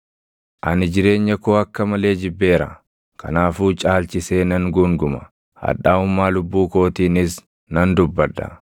“Ani jireenya koo akka malee jibbeera; kanaafuu caalchisee nan guunguma; hadhaaʼummaa lubbuu kootiinis nan dubbadha.